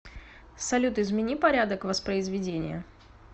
салют измени порядок воспризведения